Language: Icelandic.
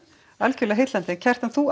algjörlega heillandi Kjartan þú